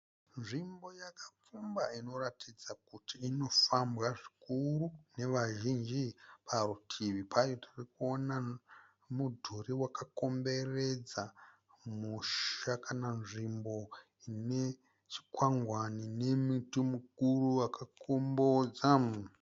Nzvimbo yakapfumba inoratidza kuti inofambwa zvikuru nevazhinji. Parutivi payo tirikuona mudhuri wakakomberedza musha kana nzvimbo ine chikwangwani nemuti mukuru wakakombodza.